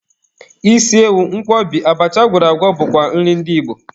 Isi ewu, Nkwobi, abacha agwọrọ agwọ bụkwa nri ndị Igbo.